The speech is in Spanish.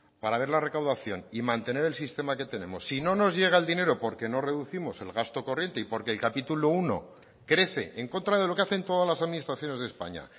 para ver la recaudación y mantener el sistema que tenemos si no nos llega el dinero porque no reducimos el gasto corriente y porque el capítulo primero crece en contra de lo que hacen todas las administraciones de españa